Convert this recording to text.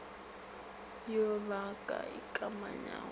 yo ba ka ikamanyago le